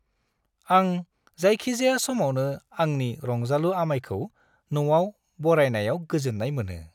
आं जायखिजाया समावनो आंनि रंजालु आमायखौ न'आव बरायनायाव गोजोन्नाय मोनो।